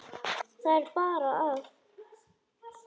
Það er bara að.